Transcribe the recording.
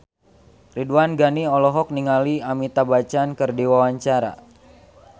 Ridwan Ghani olohok ningali Amitabh Bachchan keur diwawancara